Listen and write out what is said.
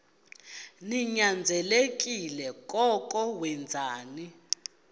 ninyanzelekile koko wenzeni